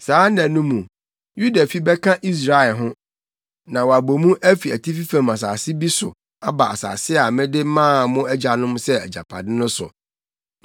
Saa nna no mu, Yuda fi bɛka Israelfi ho, na wɔabɔ mu afi atifi fam asase bi so aba asase a mede maa mo agyanom sɛ agyapade no so.